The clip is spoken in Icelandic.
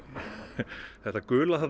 þetta gula þarna